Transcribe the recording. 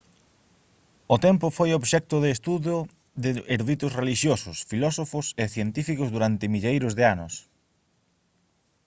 o tempo foi obxecto de estudo de eruditos relixiosos filósofos e científicos durante milleiros de anos